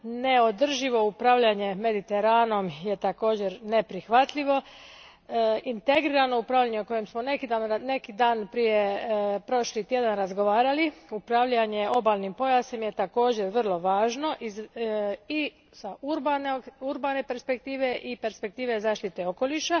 Neodrživo upravljanje Mediteranom je također neprihvatljivo. Integrirano upravljanje o kojemu smo neki dan, prošli tjedan, razgovarali, upravljanje obalnim pojasom je također vrlo važno i iz urbane perspektive i perspektive zaštite okoliša.